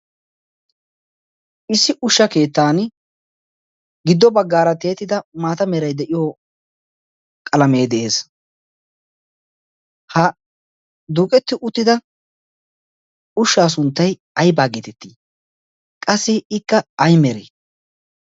Issi ushsha keettan giddo baggaara tiyettida maata qalaame de'ees. Ha duqqeti uttida ushsha sunttay aybba getetti? qassi ikka ay mere?